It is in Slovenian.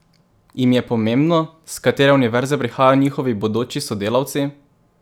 Jim je pomembno, s katere univerze prihajajo njihovi bodoči sodelavci?